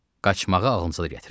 Qaçmağı ağlınıza da gətirməyin.